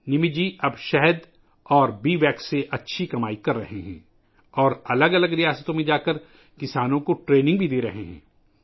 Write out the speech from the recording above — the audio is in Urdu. نمت جی اب شہد اور مکھی کے موم سے اچھی کمائی کر رہے ہیں اور مختلف ریاستوں میں جا کر کسانوں کو تربیت بھی دے رہے ہیں